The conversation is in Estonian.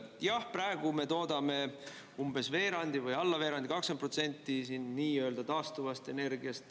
Jah, praegu me toodame umbes veerandi või alla veerandi, 20% siin nii-öelda taastuvast energiast.